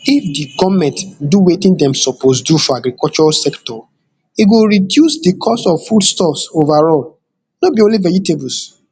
if di goment do wetin dem suppose do for agriculture sector e go reduce di cost of foodstuffs overall no be only vegetables